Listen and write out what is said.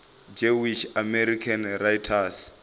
jewish american writers